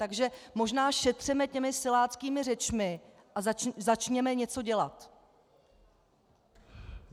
Takže možná šetřeme těmi siláckými řečmi a začněme něco dělat.